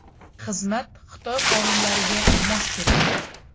Xizmat Xitoy qonunlariga mos keladi.